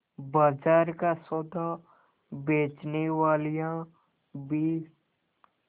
बाजार का सौदा बेचनेवालियॉँ भी